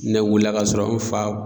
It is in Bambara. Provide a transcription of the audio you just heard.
nɛ wiila k'a sɔrɔ an fa